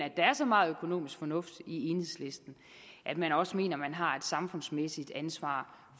at der er så meget økonomisk fornuft i enhedslisten at man også mener at man har et samfundsmæssigt ansvar